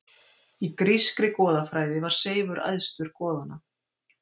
Í grískri goðafræði var Seifur æðstur goðanna.